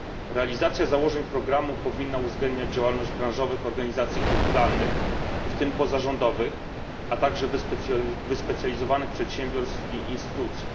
Realizacja założeń programu powinna uwzględniać działalność branżowych organizacji kulturalnych, w tym pozarządowych, a także wyspecjalizowanych przedsiębiorstw i instytucji.